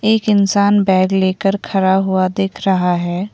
एक इंसान बैग लेकर खड़ा हुआ दिख रहा है।